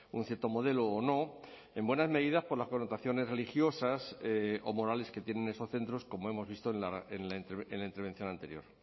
un cierto modelo o no en buena medida por las connotaciones religiosas o morales que tienen esos centros como hemos visto en la intervención anterior